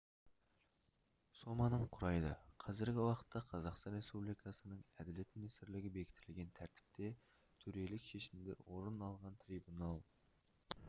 соманың құрайды қазіргі уақытта қазақстан республикасының әділет министрлігі бекітілген тәртіпте төрелік шешімде орын алған трибунал